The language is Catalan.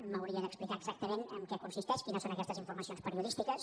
m’hauria d’explicar exactament en què consisteix quines són aquestes informacions periodístiques